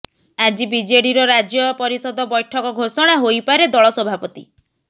ଆଜି ବିଜେଡିର ରାଜ୍ୟ ପରିଷଦ ବୈଠକ ଘୋଷଣା ହୋଇପାରେ ଦଳ ସଭାପତି